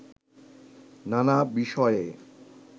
নানা বিষয়ে